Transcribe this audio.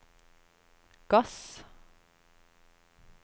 gass